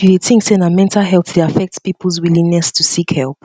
you dey think say mental health dey affect peoples willingness to seek help